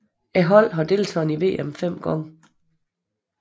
Holdet har deltaget i VM 5 gange